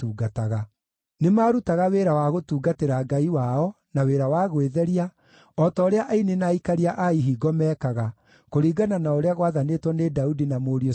Nĩmarutaga wĩra wa gũtungatĩra Ngai wao, na wĩra wa gwĩtheria, o ta ũrĩa aini na aikaria a ihingo meekaga, kũringana na ũrĩa gwathanĩtwo nĩ Daudi na mũriũ Solomoni.